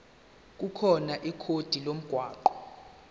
khona ikhodi lomgwaqo